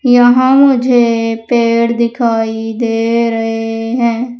यहां मुझे पेड़ दिखाई दे रहे हैं।